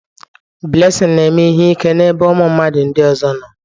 Blessing na-eme ihe ike n'ebe ụmụ mmadụ ndị ọzọ nọ